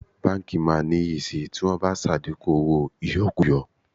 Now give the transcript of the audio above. Báńkì máa níyì sì tí wọ́n bá ṣàdínkù owó ìyọkúkọ.